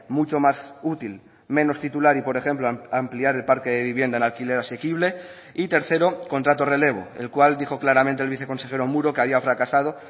mucho más útil menos titular y por ejemplo ampliar el parque de vivienda en alquiler asequible y tercero contrato relevo el cual dijo claramente el viceconsejero muro que había fracasado